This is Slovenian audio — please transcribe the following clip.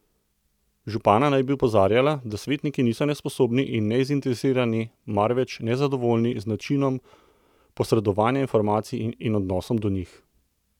Župana naj bi opozarjala, da svetniki niso nesposobni in nezainteresirani, marveč nezadovoljni z načinom posredovanja informacij in odnosom do njih.